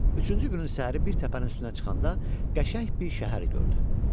Üçüncü günün səhəri bir təpənin üstünə çıxanda qəşəng bir şəhər gördü.